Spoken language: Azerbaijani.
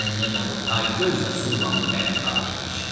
Sən demə bu taygöz də Sullanın tərəfdarı imiş.